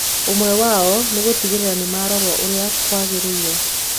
Ũmwe wao nĩ gũtigĩrĩra nĩ marorwo ũrĩa kwagĩrĩire.